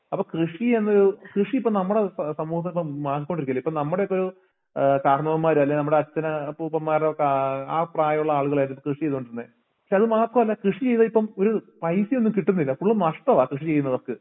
അപ്പ കൃഷിയെന്ന് കൃഷിയിപ്പോന്നമ്മടെ സമൂഹത്തിപ്പം മാറിക്കൊണ്ടിരിക്കുവല്ലേ ഇപ്പ നമ്മടെയൊക്കെ ഏഹ് കാർന്നോമ്മാര് അല്ലേ നമ്മടെ അച്ഛന് അപ്പൂപ്പന്മാരൊക്കെ അഹ് ആ പ്രായവുള്ള ആളുകളാര്ന്ന് കൃഷിചെയ്തോണ്ടിരുന്നെ പക്ഷേ അത് മാത്രമല്ല കൃഷിചെയ്യതായിപ്പം ഒര് പൈസ ഒന്നും കിട്ടുന്നില്ല ഫുള്ളും നഷ്ടമാ കൃഷിചെയ്യുന്നവർക്ക്